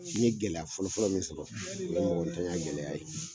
N ye gɛlɛya fɔlɔfɔlɔ min sɔrɔ, o ye mɔgɔtanya gɛlɛya ye.